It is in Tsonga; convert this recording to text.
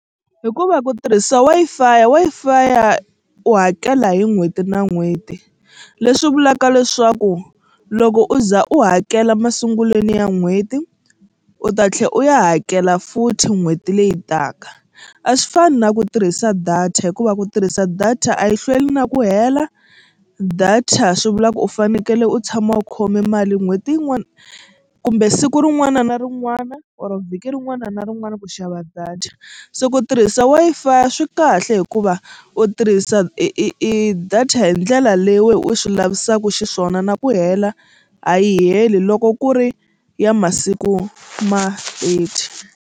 Hikuva ku tirhisa Wi-Fi Wi-Fi u hakela hi n'hweti na n'hweti leswi vulaka leswaku loko u za u hakela masungulweni ya n'hweti u ta tlhela u ya hakela futhi n'hweti leyi taka. A swi fani na ku tirhisa data hikuva ku tirhisa data a yi hlweli na ku hela data swi vula ku u fanekele u tshama u khome mali n'hweti yin'wana kumbe siku rin'wana na rin'wana or vhiki rin'wana na rin'wana ku xava data se ku tirhisa Wi-Fi swi kahle hikuva u tirhisa i i i data hi ndlela leyi wena u swi lavisaka xiswona na ku hela a yi heli loko ku ri ya masiku ma thirty.